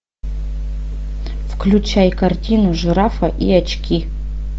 включай картину жирафа и очки